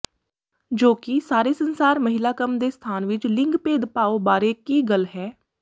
ਜੋ ਕਿ ਸਾਰੇ ਸੰਸਾਰ ਮਹਿਲਾ ਕੰਮ ਦੇ ਸਥਾਨ ਵਿੱਚ ਲਿੰਗ ਭੇਦਭਾਵ ਬਾਰੇ ਕੀ ਗੱਲ ਹੈ